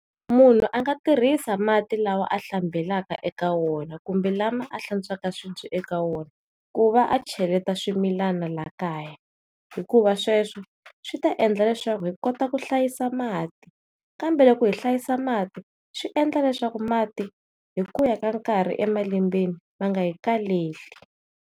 Munhu a nga tirhisa mati lawa a hlambelaka eka wona kumbe lama a hlantswa swibye eka wona hikuva a cheleta swimilana la kaya hikuva sweswi swi ta endla leswaku hi kota ku hlayisa mati kambe loko hi hlayisa mati swi endla leswaku mati hikuya hi nkarhi emalembeni ma nga hi kaleli.